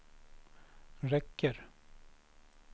räcker